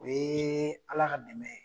O yeeee Ala ka dɛmɛ ye.